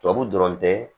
Tubabu dɔrɔn tɛ